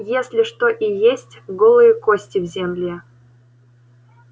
если что и есть голые кости в земле